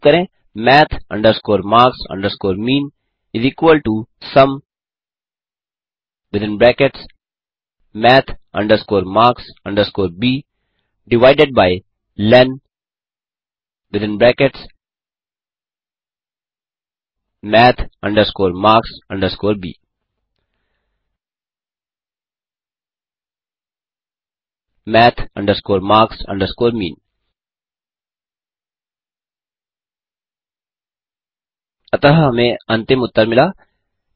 type करें math marks mean summath marks ब lenmath marks ब math marks mean अतः हमें अंतिम उत्तर मिला